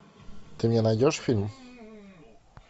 ты мне найдешь фильм